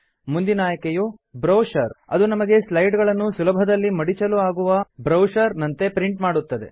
ಮುಂದಿನ ಆಯ್ಕೆಯು ಬ್ರೋಶರ್ ಅದು ನಮಗೆ ಸ್ಲೈಡ್ ಗಳನ್ನು ಸುಲಭದಲ್ಲಿ ಮಡಚಲು ಆಗುವ ಬ್ರೋಶರ್ ನಂತೆ ಪ್ರಿಂಟ್ ಮಾಡುತ್ತದೆ